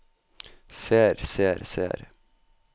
ser ser ser